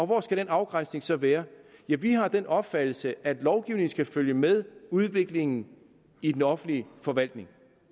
hvor skal den afgrænsning så være ja vi har den opfattelse at lovgivningen skal følge med udviklingen i den offentlige forvaltning